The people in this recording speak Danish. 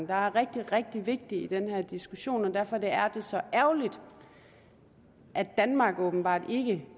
der er rigtig rigtig vigtig i den her diskussion og derfor er det så ærgerligt at danmark åbenbart ikke